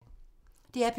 DR P3